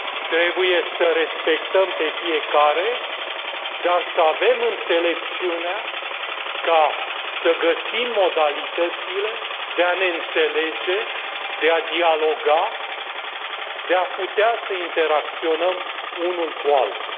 Trebuie să respectăm pe fiecare, dar să avem înțelepciunea ca să găsim modalitățile de a ne înțelege, de a dialoga, de a putea să interacționăm unul cu altul.